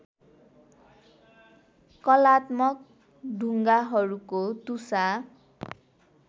कलात्मक ढुङ्गाहरूको टुसा